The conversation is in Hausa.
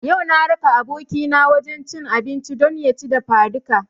Yau na raka abokina wajen cin abinci don ya ci dafadika